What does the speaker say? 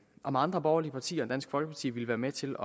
om andre borgerlige partier end dansk folkeparti ville være med til